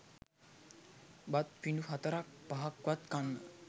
බත් පිඬු හතරක් පහක්වත් කන්න